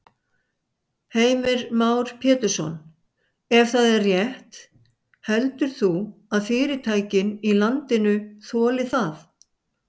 Heimir Már Pétursson: Ef það er rétt heldur þú að fyrirtækin í landinu þoli það?